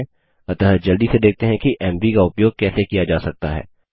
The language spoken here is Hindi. अतः जल्दी से देखते हैं कि एमवी का उपयोग कैसे किया जा सकता है